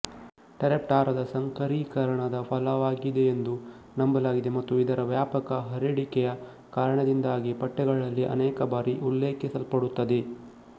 ಟೆರಾಪ್ಟೆರಾ ದ ಸಂಕರೀಕರಣದ ಫಲವಾಗಿದೆಯೆಂದು ನಂಬಲಾಗಿದೆ ಮತ್ತು ಇದರ ವ್ಯಾಪಕ ಹರಡಿಕೆಯ ಕಾರಣದಿಂದಾಗಿ ಪಠ್ಯಗಳಲ್ಲಿ ಅನೇಕಬಾರಿ ಉಲ್ಲೇಖಿಸಲ್ಪಡುತ್ತದೆ